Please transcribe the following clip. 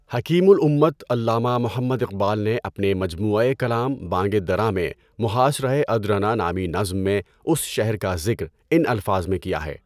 حکیم الامت علامہ محمد اقبال نے اپنے مجموعۂ کلام بانگ درا میں محاصرۂ ادرنہ نامی نظم میں اس شہر کا ذکر ان الفاظ میں کیا ہے۔